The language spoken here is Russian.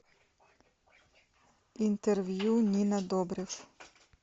интервью нина добрев